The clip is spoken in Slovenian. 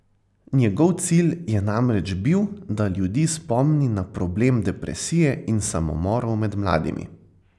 Njegov cilj je namreč bil, da ljudi spomni na problem depresije in samomorov med mladimi.